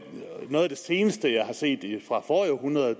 det seneste jeg har set er fra forrige århundrede